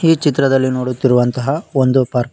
ಈ ಚಿತ್ರದಲ್ಲಿ ನೋಡುತ್ತಿರುವಂತಹ ಒಂದು ಪಾರ್ಕ್ .